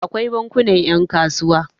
akwai bankuna yankasuwa